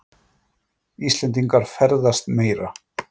Íslendingar ferðast meira